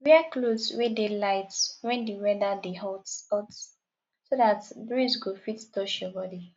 wear cloth wey dey light when di weather dey hot hot so dat breeze go fit touch your body